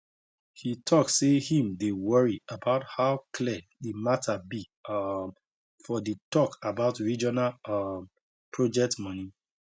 he talk say him dey worry about how clear the matter be um for the talk about regional um project money